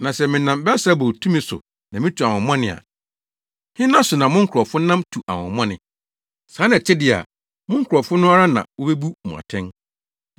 Na sɛ menam Beelsebul tumi so na mitu ahonhommɔne a, hena so na mo nkurɔfo nam tu ahonhommɔne? Saa na ɛte de a, mo nkurɔfo no ara na wobebu mo atɛn.